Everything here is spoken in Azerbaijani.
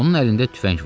Onun əlində tüfəng var.